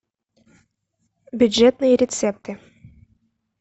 бюджетные рецепты